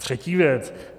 Třetí věc.